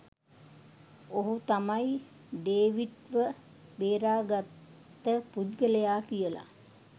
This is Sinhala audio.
ඔහු තමයි ඩේවිඩ් ව බේරගත්ත පුද්ගලයා කියලා